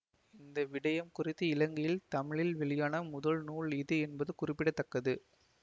இந்த விடயம் குறித்து இலங்கையில் தமிழில் வெளியான முதல் நூல் இது என்பது குறிப்பிட தக்கது